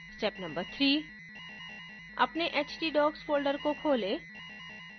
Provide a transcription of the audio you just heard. step no 3: अपने htdocs folder को खोलें